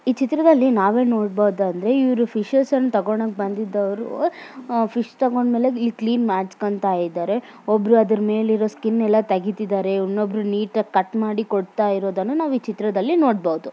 ಇಲ್ಲಿ ನಾವು ಏನು ನೋಡ್ತಾ ಇದ್ದೀರಿ ಅಂದ್ರೆ ಇಲ್ಲಿ ಹುಡುಗ ನೀರು ಕಡೆ ಎಲ್ಲಾ ಬ್ರಿಡ್ಜ್ ಮೇಲೆ ನಿಂತುಕೊಂಡು ಅಲ್ಲಿ ಫೋಟೋಸ್ ಹೇಳ್ತೀರೋದು ಅಂತ ನೋಡಬಹುದು